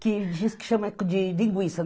que diz que chama de linguiça.